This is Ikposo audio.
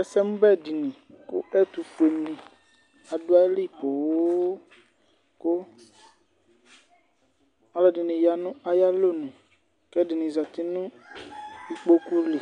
Ɛsɛmubɛ dìni ku ɛtufueni adu ayili põnn, ku ɔluɛdini ya nu ayalonu, k'ɛdini zati nu ikpoku li,